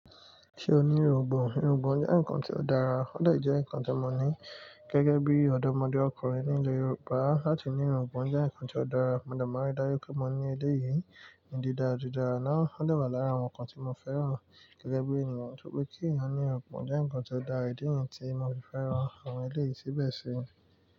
Ṣé o ní irúgbọ̀n? Irúgbọ̀n jẹ́ ǹnkan tí ó dára, ó dé jẹ́ ǹnkan tí mo ní gẹ́gẹ́ bí ọdọmọdé ọkùnrin ní ilé Yorùbá láti ní irúgbọ̀n jẹ́ ǹnkan tí ó dára. Mo dé maa rí dájú pé mọ ní eléyì ní dida dida náà. Ó dé wà lára àwọn ǹnkan tí mo fẹ́ràn gẹ́gẹ́ bí ènìyàn. Nítorí pé tí ẹeyan irúgbọ̀n jẹ́ ǹnkan tí ó dára, ìdí nìyẹn tí mo fi fẹ́ràn àwọn eléyì síbẹ̀ sì.